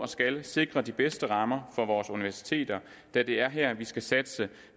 skal sikre de bedste rammer for vores universiteter da det er her vi skal satse